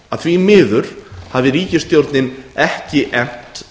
að því miður hafi ríkisstjórnin ekki efnt